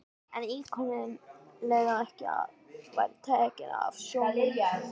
En íkoninn leyfði ekki að hann væri tekinn af sjónum.